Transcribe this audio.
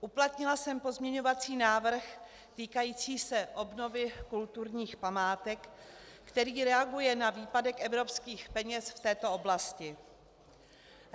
Uplatnila jsem pozměňovací návrh týkající se obnovy kulturních památek, který reaguje na výpadek evropských peněz v této oblasti.